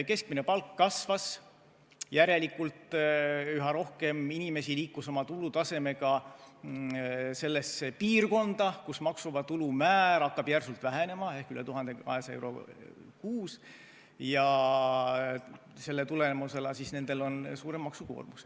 Keskmine palk kasvas, järelikult üha rohkem inimesi liikus oma tulutasemega selle piirini, kus maksuvaba tulu määr hakkab järsult vähenema, see on 1200 eurot kuus, ja selle tulemusena on nendel suurem maksukoormus.